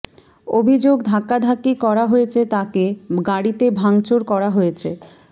অভিযোগ ধাক্কাধাক্কি করা হয়েছে তাকে গাড়িতে ভাঙচুর করা হয়েছে